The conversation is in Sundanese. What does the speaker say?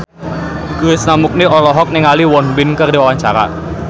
Krishna Mukti olohok ningali Won Bin keur diwawancara